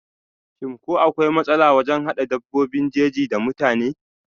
shim ko akwai matsala wajen hada dabbobin jeji da mutane?